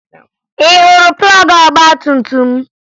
Ị hụrụ plọọgụ ọgbatumtum m?